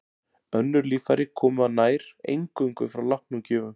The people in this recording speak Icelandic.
Önnur líffæri koma nær eingöngu frá látnum gjöfum.